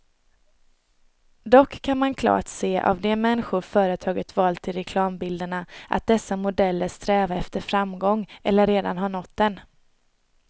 Dock kan man klart se av de människor företaget valt till reklambilderna, att dessa modeller strävar efter framgång eller redan har nått den.